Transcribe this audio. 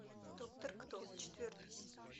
доктор кто четвертый сезон